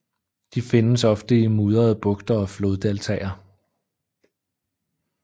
De findes ofte i mudrede bugter og floddeltaer